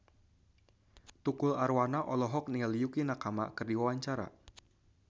Tukul Arwana olohok ningali Yukie Nakama keur diwawancara